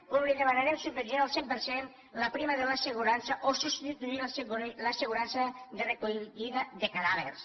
com li demanarem subvencionar al cent per cent la prima de l’assegurança o substituir l’assegurança de recollida de cadàvers